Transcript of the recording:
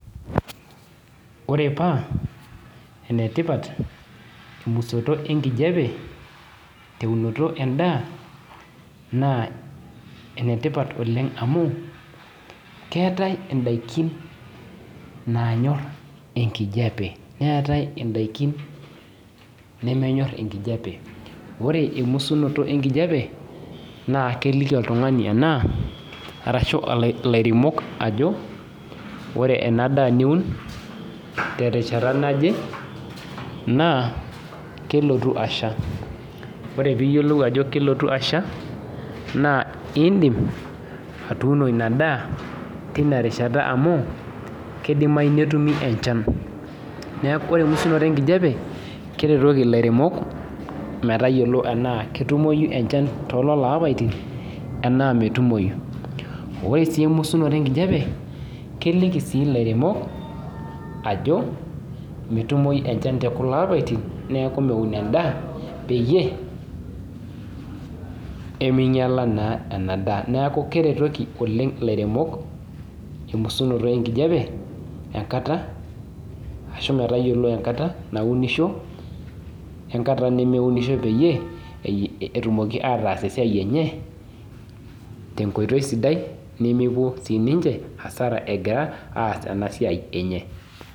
Ore paa enetipat emusoto enkijepe teunoto endaa ,naa enetipat oleng amu keetae ndaikin naanyor enkijepe. neetae ndaikin nemenyor enkijepe ,ore emusoto enkijepe naa keleiki oltungani ashu ilairemok ajo ore ena daa niun naa kelotu ashua .ore pee iyiolou ajo kelotu asha naa indim atuuno ina daa tina rishata amu keidimayu netumi enchan ,neeku ore emusunoto enkijepe naa keretoki ilairemok metayiolo tenaa ketumoyu too lelo apaitin tenaa metumoyu, ore sii emusunoto enkijepe kelikii sii lairemok ajo metumoyu enchan tekulo apaitin neeku metum endaa peyie meinyala naa ena daa ,neeku keretoki lairemok oleng emusunoto enkijepe pee eyiolou enkata naunishoi we nkata nemeunisho peyie pee etumoki ataasa esiai enye tenkoitoi sidai nemepuo siininche asara egira aas ena siai enche.